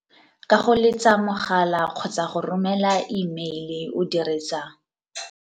Ka go letsa mogala kgotsa go romela imeile o dirisa.